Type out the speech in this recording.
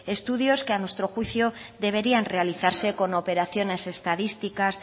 estudios que a nuestro juicio deberían realizarse con operaciones estadísticas